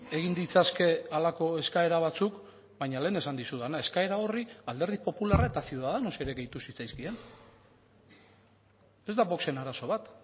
egin ditzake halako eskaera batzuk baina lehen esan dizudana eskaera horri alderdi popularra eta ciudadanos ere gehitu zitzaizkien ez da voxen arazo bat